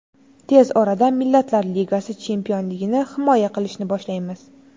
Tez orada biz Millatlar Ligasi chempionligini himoya qilishni boshlaymiz.